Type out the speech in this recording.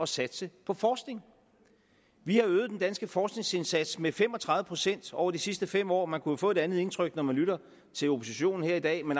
satse på forskning vi har øget den danske forskningsindsats med fem og tredive procent over de sidste fem år man kunne jo få et andet indtryk når man lytter til oppositionen her i dag